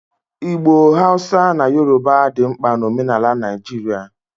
Igbo, Hausa na Yoruba dị mkpa na omenala Naijiria